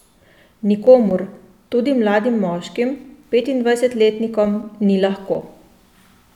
Nikomur, tudi mladim moškim, petindvajsetletnikom, ni lahko.